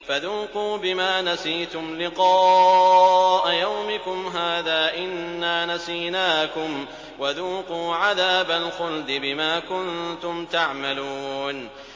فَذُوقُوا بِمَا نَسِيتُمْ لِقَاءَ يَوْمِكُمْ هَٰذَا إِنَّا نَسِينَاكُمْ ۖ وَذُوقُوا عَذَابَ الْخُلْدِ بِمَا كُنتُمْ تَعْمَلُونَ